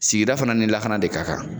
Sigida fana ni lakana de ka kan